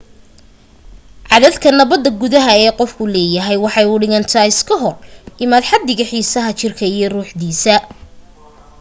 caddadka nabada gudaha ee qofku leeyahay waxay u dhigantaa iska hor imaad xaddiga xiisadda jirka iyo ruuxdiisa